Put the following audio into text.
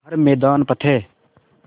हर मैदान फ़तेह